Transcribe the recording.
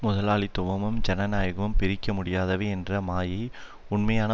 முதலாளித்துவமும் ஜனநாயகமும் பிரிக்க முடியாதவை என்ற மாயைக் உண்மையான